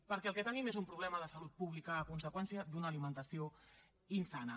perquè el que tenim és un problema de salut pública a conseqüència d’una alimentació insana